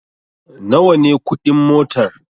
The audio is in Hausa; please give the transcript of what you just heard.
Nawa ne kuɗin motar?